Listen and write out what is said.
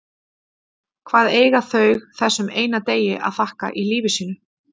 Hvað eiga þau þessum eina degi að þakka í lífi sínu?